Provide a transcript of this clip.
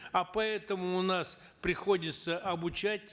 а поэтому у нас приходится обучать